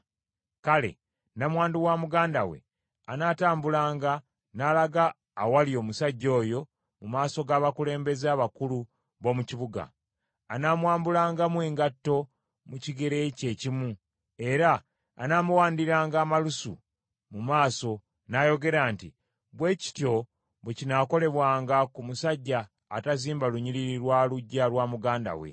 kale, nnamwandu wa muganda we anaatambulanga n’alaga awali omusajja oyo mu maaso g’abakulembeze abakulu b’omu kibuga, anaamwambulangamu engatto mu kigere kye ekimu, era anaamuwandiranga amalusu mu maaso n’ayogera nti, “Bwe kityo bwe kinaakolebwanga ku musajja atazimba lunyiriri lwa luggya lwa muganda we.”